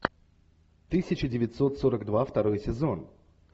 тысяча девятьсот сорок два второй сезон